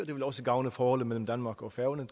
det vil også gavne forholdet mellem danmark og færøerne